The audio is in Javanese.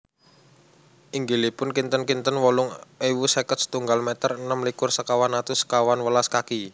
Inggilipun kinten kinten wolung ewu seket setunggal meter enem likur sekawan atus sekawan welas kaki